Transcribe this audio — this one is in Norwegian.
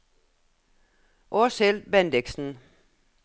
Åshild Bendiksen